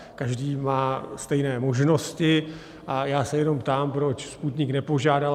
Každý má stejné možnosti a já se jenom ptám, proč Sputnik nepožádal?